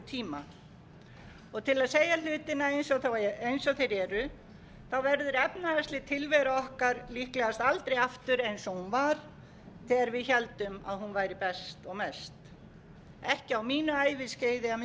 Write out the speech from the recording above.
tíma og til að segja hlutina eins og þeir eru verður efnahagsleg tilvera okkar líklegast aldrei aftur eins og hún var þegar við héldum að hún væri best og mest ekki á mínu æviskeiði að minnsta kosti